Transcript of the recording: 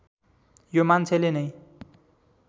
यो मान्छेले नै